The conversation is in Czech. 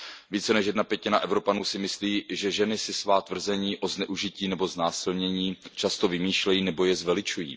Více než jedna pětina Evropanů si myslí, že ženy si svá tvrzení o zneužití nebo znásilnění často vymýšlejí nebo je zveličují.